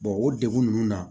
o degun ninnu na